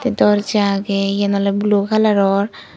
ye dorja agey yan olode blue coloror.